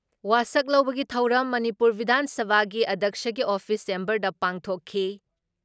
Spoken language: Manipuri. ꯋꯥꯁꯛ ꯂꯧꯕꯒꯤ ꯊꯧꯔꯝ ꯃꯅꯤꯄꯨꯔ ꯕꯤꯙꯥꯟ ꯁꯚꯥꯒꯤ ꯑꯙ꯭ꯌꯛꯁꯒꯤ ꯑꯣꯐꯤꯁ ꯆꯦꯝꯕꯔꯗ ꯄꯥꯡꯊꯣꯛꯈꯤ ꯫